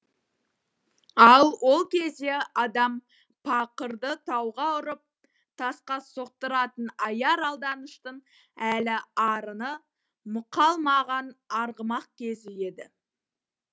ал ол кезде адам пақырды тауға ұрып тасқа соқтыратын аяр алданыштың әлі арыны мұқалмаған арғымақ кезі еді